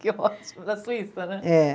Que ótimo, da Suíça, né? É